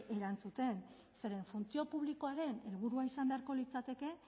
erantzuten zeren funtzio publikoaren helburua izan beharko litzateke